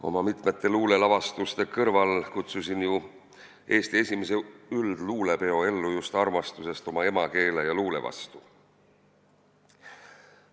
Oma mitmete luulelavastuste kõrval kutsusin ju Eesti esimese üldluulepeo ellu just armastusest emakeele ja luule vastu.